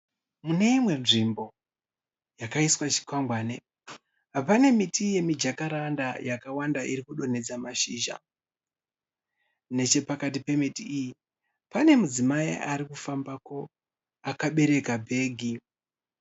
Mune imwe nzvimbo yakaiswa chikwangwane pane miti yemijakaranda yakawanda iri kudonhedza mazhizha. Nechepakati pemiti iyi pane mudzimai arikufambapo akabereka bhegi.